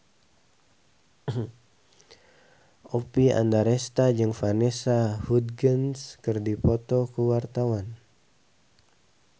Oppie Andaresta jeung Vanessa Hudgens keur dipoto ku wartawan